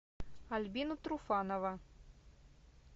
альбина труфанова